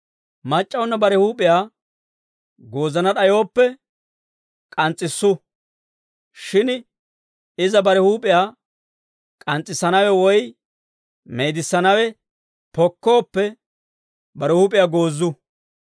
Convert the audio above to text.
Mac'c'awunna bare huup'iyaa goozana d'ayooppe, k'ans's'issu. Shin iza bare huup'iyaa k'ans's'issanawe woy meedissanawe pokkooppe, bare huup'iyaa goozu.